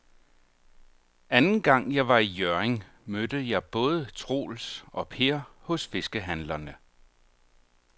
Anden gang jeg var i Hjørring, mødte jeg både Troels og Per hos fiskehandlerne.